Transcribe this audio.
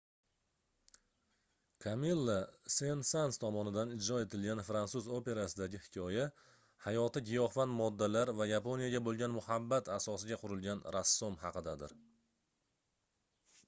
kamilla sen-sans tomonidan ijro etilgan fransuz operasidagi hikoya hayoti giyohvand moddalar va yaponiyaga boʻlgan muhabbat asosiga qurilgan rassom haqidadir